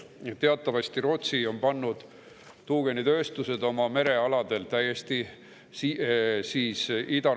Rootsi on teatavasti pannud tuugenitööstused oma idaranniku merealadel täiesti seisma.